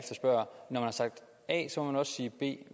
når man har sagt a må man også sige b